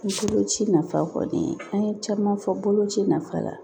Boloci nafa kɔni an ye caman fɔ boloci nafa la